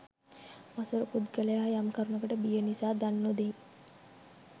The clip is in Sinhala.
මසුරු පුද්ගලයා යම් කරුණකට බිය නිසා දන් නොදෙයි.